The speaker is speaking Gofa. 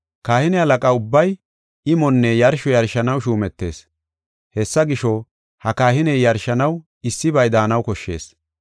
Kahine halaqa ubbay imonne yarsho yarshanaw shuumetees. Hessa gisho, ha kahiney yarshanaw issibay daanaw koshshees.